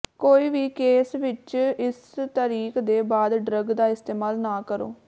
ਕੋਈ ਵੀ ਕੇਸ ਵਿੱਚ ਇਸ ਤਾਰੀਖ ਦੇ ਬਾਅਦ ਡਰੱਗ ਦਾ ਇਸਤੇਮਾਲ ਨਾ ਕਰੋ